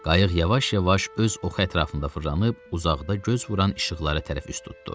Qayıq yavaş-yavaş öz oxu ətrafında fırlanıb uzaqda göz vuran işıqlara tərəf üst tutdu.